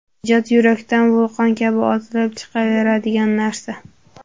Ijod yurakdan vulqon kabi otilib chiqaveradigan narsa.